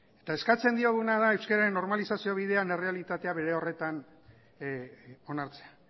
eta eskatzen dioguna da euskararen normalizazio bidean errealitatea bere horretan onartzea